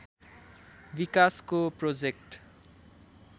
विकासको प्रोजेक्ट